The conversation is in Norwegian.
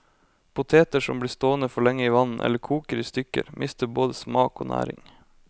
Poteter som blir stående for lenge i vann eller koker i stykker, mister både smak og næring.